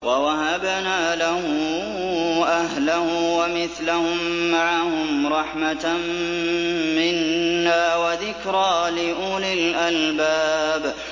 وَوَهَبْنَا لَهُ أَهْلَهُ وَمِثْلَهُم مَّعَهُمْ رَحْمَةً مِّنَّا وَذِكْرَىٰ لِأُولِي الْأَلْبَابِ